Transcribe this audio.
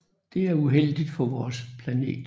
Det er uheldigt for vores planet